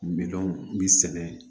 Minɛnw bi sɛnɛ